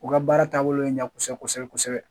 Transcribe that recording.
U ka baara taabolo ye n ja kosɛbɛ kosɛbɛ kosɛbɛ